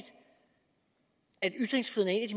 af de